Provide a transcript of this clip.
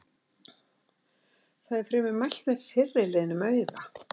Þar er fremur mælt með fyrri liðnum auga-.